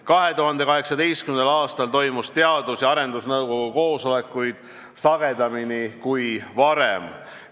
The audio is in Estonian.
2018. aastal toimusid Teadus- ja Arendusnõukogu koosolekud sagedamini kui varem.